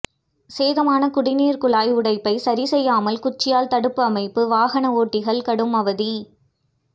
சேதமான குடிநீர் குழாய் உடைப்பை சரிசெய்யாமல் குச்சியால் தடுப்பு அமைப்பு வாகன ஓட்டிகள் கடும் அவதி